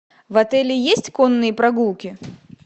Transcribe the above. в отеле есть конные прогулки